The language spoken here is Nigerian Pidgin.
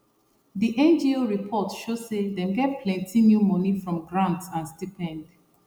di ngo report show say dem get plenty new money from grant and stipend